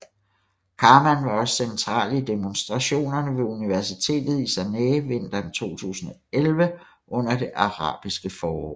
Karman var også central i demonstrationerne ved universitetet i Sanaá vinteren 2011 under det arabiske forår